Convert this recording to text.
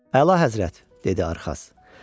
Əla həzrət, dedi Arxas.